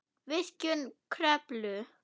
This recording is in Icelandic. Virkjun Kröflu